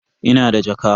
Ina da jaka.